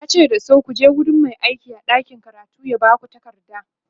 yace dasu"kuje wurin Mai aiki a ɗakin karatu ya Baku takarda!"